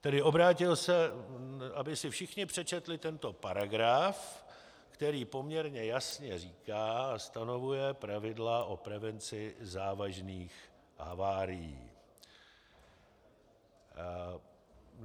Tedy obrátil se, aby si všichni přečetli tento paragraf, který poměrně jasně říká a stanovuje pravidla o prevenci závažných havárií.